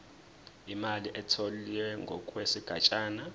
imali etholwe ngokwesigatshana